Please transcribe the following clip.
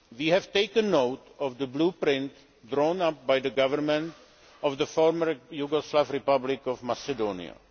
We have taken note of the blueprint drawn up by the Government of the former Yugoslav Republic of Macedonia.